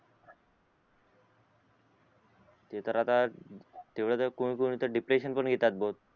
ते तर आता तेव्हा कोण कोणत डिप्रेशन पण येतात बघा